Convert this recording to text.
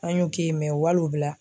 An y'u k'i wali o bila